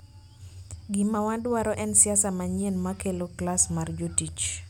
Gima wadwaro en siasa manyien ma kelo klas mar jotich.